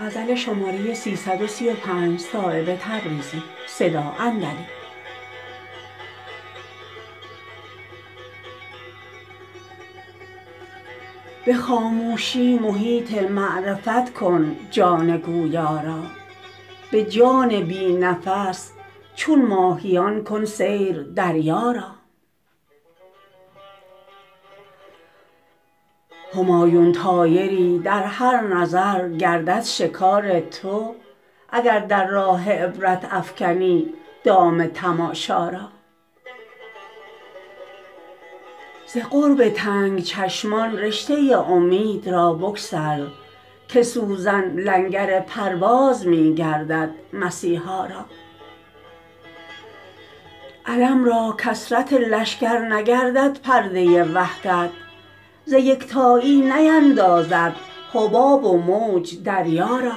به خاموشی محیط معرفت کن جان گویا را به جان بی نفس چون ماهیان کن سیر دریا را همایون طایری در هر نظر گردد شکار تو اگر در راه عبرت افکنی دام تماشا را ز قرب تنگ چشمان رشته امید را بگسل که سوزن لنگر پرواز می گردد مسیحا را علم را کثرت لشکر نگردد پرده وحدت ز یکتایی نیندازد حباب و موج دریا را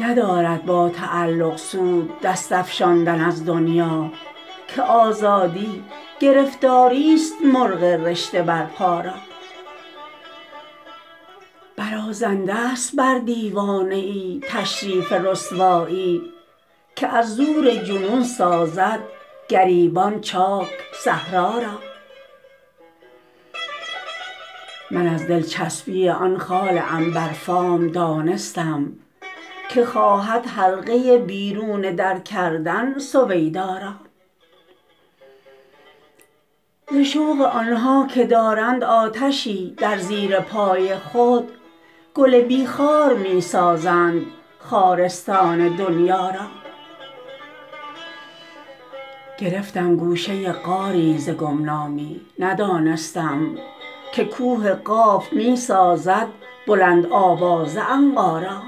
ندارد با تعلق سود دست افشاندن از دنیا که آزادی گرفتاری است مرغ رشته بر پا را برازنده است بر دیوانه ای تشریف رسوایی که از زور جنون سازد گریبان چاک صحرا را من از دلچسبی آن خال عنبر فام دانستم که خواهد حلقه بیرون در کردن سویدا را ز شوق آنها که دارند آتشی در زیر پای خود گل بی خار می سازند خارستان دنیا را گرفتم گوشه غاری ز گمنامی ندانستم که کوه قاف می سازد بلند آوازه عنقا را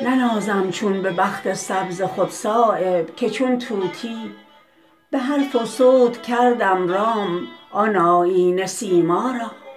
ننازم چون به بخت سبز خود صایب که چون طوطی به حرف و صوت کردم رام آن آیینه سیما را